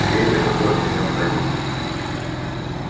ей это просто необходимо